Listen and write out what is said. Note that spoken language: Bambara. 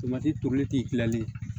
Tomati tobili tilali ye